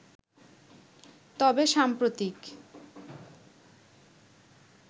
তবে সাম্প্রতিক